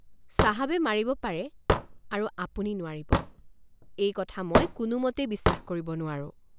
চাহাবে মাৰিব পাৰে আৰু আপুনি নোৱাৰিব এই কথা মই কোনোমতেই বিশ্বাস কৰিব নোৱাৰোঁ।